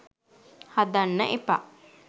හදන්න එපා.